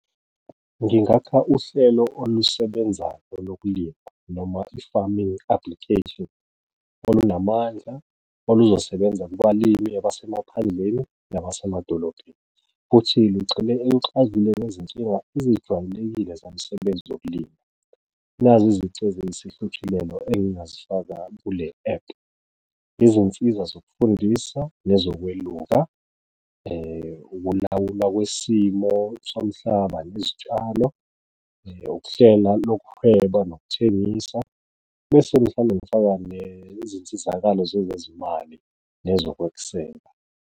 Ngingakha uhlelo olusebenzayo lokulima noma i-farming application olunamandla, olusebenza kubalimi abasemaphandleni nasemadolobheni, futhi ngigxile ekuxazululeni izinkinga ezijwayelekile zomsebenzi zokulima, nazi izici eziyisihluthulelo engingazifaka kule-app. Izinsiza zokufundisa nezokweluka, ukulawulwa kwesimo somhlaba nezitshalo, ukuhlela lokuhweba nokuthengisa bese mhlawumbe ngifaka nezinsizakalo zezezimali nezokwesekwa.